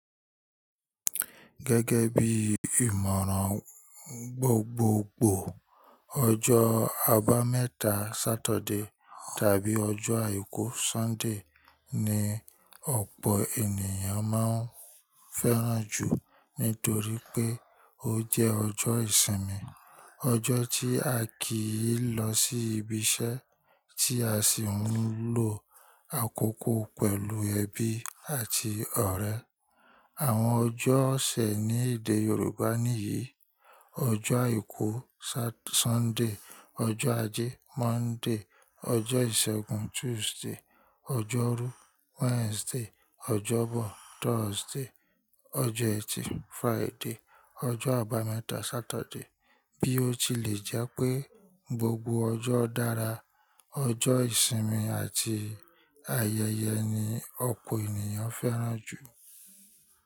Gẹ́gẹ́ bí ìmọ̀ràn gbogbogbò, ọjọ́ Àbámẹ́ta Saturday tàbí ọjọ́ Àìkú Sunday ni ọ̀pọ̀ ènìyàn máa ń fẹ́ràn jù nítorí pé ó jẹ́ ọjọ́ ìsinmi. Ọjọ́ tí a kì í lọ sí ibi iṣẹ́ tí a sì ń lò àkókò pẹ̀lú ẹbí àti ọ̀rẹ́. Àwọn ọjọ́ òṣẹ̀ ní èdè Yorùbá nìyí: ọjọ́ Àìkú satur Sunday, ọjọ́ Ajé Monday, ọjọ́ Ìṣẹ́gun Tuesday, ọjọ́ rú Wednesday, ọjọ́bọ̀ Thursday, ọjọ́ ẹtì Friday, ọjọ́ Àbámẹ́ta Saturday. Bí ó tilẹ̀ jẹ́ pé gbogbo ọjọ́ dára, ọjọ́ ìsinmi àti ayẹyẹ ni ọ̀pọ̀ ènìyàn fẹ́ràn jù.